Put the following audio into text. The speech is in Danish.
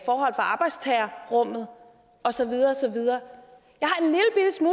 forhold for arbejdstagerrummet og så videre